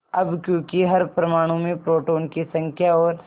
अब क्योंकि हर परमाणु में प्रोटोनों की संख्या और